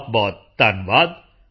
ਬਹੁਤਬਹੁਤ ਧੰਨਵਾਦ